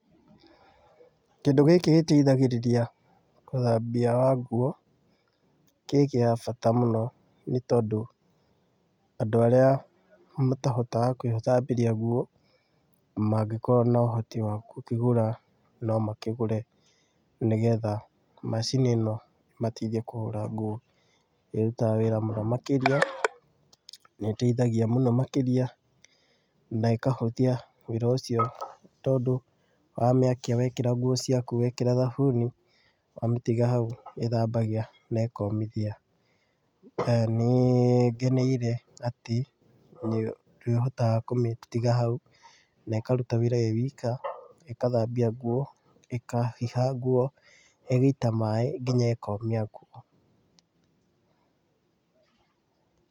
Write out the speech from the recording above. Kĩndũ gĩkĩ gĩteithagĩrĩria ũthambia wa nguo, kĩ gĩa bata mũno nĩ tondũ andũ arĩa matahotaga gwĩthambĩria nguo mangĩkorwo na ũhoti wa gũkĩgũra, no makĩgũre, nĩgetha macini ĩno ĩmateithie kũhũra nguo, ĩrutaga wĩra mũno makĩria na ĩteithagia mũno makĩria na ĩkahũthia wĩra ũcio, tondũ wamĩakia wekĩra nguo ciaku wekĩra thabuni wamĩtiga hau ĩthambagia na ĩkomithia. Nĩ ngeneire atĩ nĩ ũhotaga kũmĩtiga hau na ĩkaruta wĩra ĩĩ ika, ĩkathambia nguo, ĩkahiha nguo, ĩgaita maaĩ nginya ĩkomia nguo.